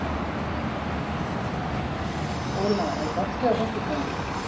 Óla, er bolti á föstudaginn?